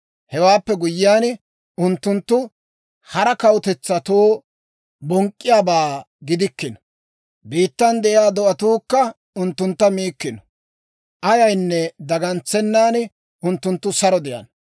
Hewaappe guyyiyaan, unttunttu hara kawutetsatoo bonk'k'iyaabaa gidikkino; biittan de'iyaa do'atuukka unttuntta miikkino. Ayaynne dagantsennan, unttunttu saro de'ana.